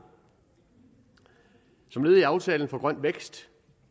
som led i aftalen om grøn vækst